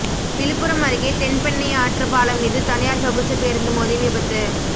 விழுப்புரம் அருகே தென்பெண்ணை ஆற்று பாலம் மீது தனியார் சொகுசு பேருந்து மோதி விபத்து